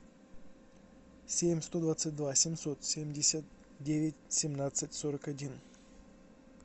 семь сто двадцать два семьсот семьдесят девять семнадцать сорок один